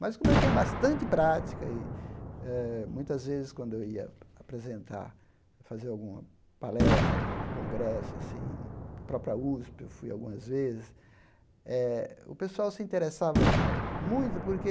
Mas, como eu tinha bastante prática e, eh muitas vezes, quando eu ia apresentar, fazer alguma palestra em algum congresso assim, na própria USP eu fui algumas vezes, eh o pessoal se interessava muito porque